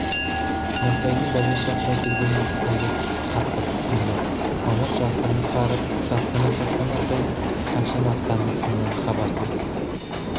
нұртайдың бәле шақыра келгенін есіткенде қатты тіксінді мамыт жасырынып барып жасырынып қайтқан нұртайдың қашан аттанатынынан хабарсыз